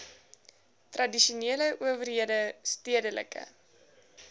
tradisionele owerhede stedelike